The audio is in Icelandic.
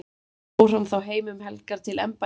fór hann þá heim um helgar til embættisgjörða